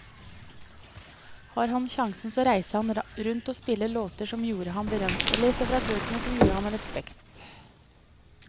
Har han sjansen så reiser han rundt og spiller låtene som gjorde ham berømt, og leser fra bøkene som gir ham respekt.